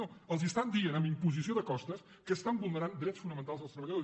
no els estan dient amb imposició de costes que estan vulnerant drets fonamentals dels treballadors